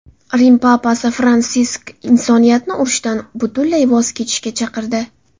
Rim papasi Fransisk insoniyatni urushdan butunlay voz kechishga chaqirdi.